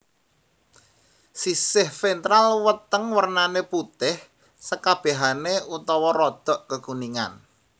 Siséh ventral weteng wernané putih sekabèhané utawa rodok kekuningan